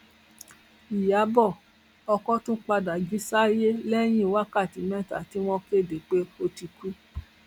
ìyàbọ ọkọ tún padà jí sáyé lẹyìn wákàtí mẹta tí wọn kéde pé ó ti kú